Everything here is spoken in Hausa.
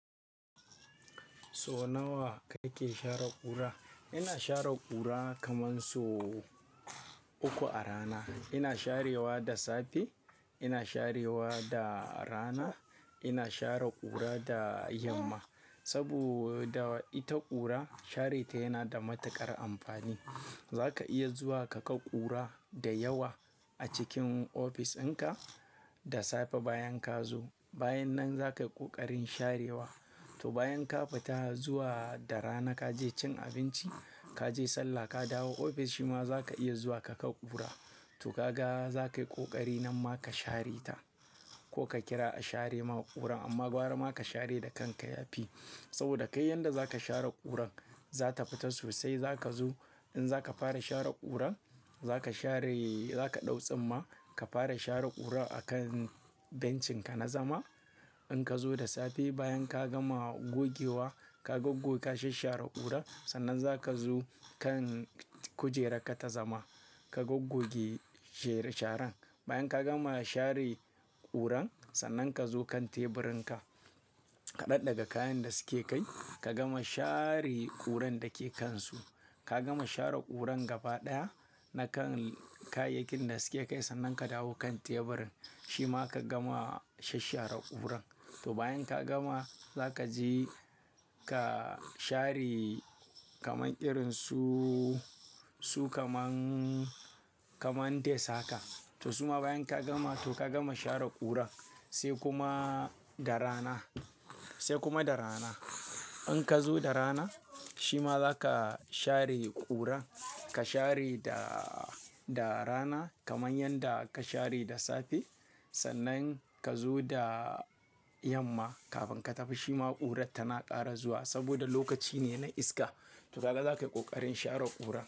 So nawa kake share ƙura? Ina share ƙura kaman so uku a rana. Ina sharewa da safe, ina sharewa da rana, ina share ƙura da yamma. Saboda ita ƙura share ta yana da matuƙar amfani. Za ka iya zuwa ka ga ƙura da yawa a cikin ofishinka da safe bayan ka zo. Bayan nan za ka yi ƙoƙarin sharewa. To bayan ka fita zuwa da rana ka je cin abinci, ka je sallah ka dawo ofis shima za ka iya zuwa ka ga ƙura. To ka ga za ka yi ƙoƙari nan ma ka share ta ko ka kira a share ma ƙuran. Amma gwara ma ka share da kanka ya fi. Saboda kai yanda za ka share ƙuran zata fita sosai. Zaka zo in zska fara share ƙurar, za ka share, za ka ɗau tsimma ka fara share ƙurar a kan bencinka na zama. In ka zo da safe bayan ka gama gogewa ka goggoge ka shashshare ƙurar. Sannan za ka zo kan kujerarka ta zama ka goggoge sharar. Bayan ka gama share ƙurar sannan ka zo kan teburinka ka daɗɗaga kayan da suke kai. Ka gama share ƙuran da ke kansu. Ka gama share ƙurar gaba ɗaya na kan kayayyakin da suke kai. Sannan ka dawo kan teburin shima ka gama shashshare ƙurar. To bayan ka gama zaka je ka share kaman irin su, su kaman, kaman desk haka. To suma bayan ka gama to ka gama share ƙurar sai kuma da rana, sai kuma da rana. In ka zo da rana shima za ka share ƙura. Ka share da, da rana kaman yanda ka share da safe. Sannan ka zo da yamma kafin ka tafi shima ƙurar tana ƙare zuwa saboda lokaci ne na iska. To kaga zakai ƙoƙarin share ƙurar.